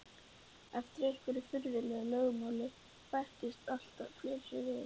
Eftir einhverju furðulegu lögmáli bættust alltaf fleiri við.